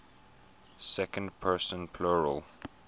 second person plural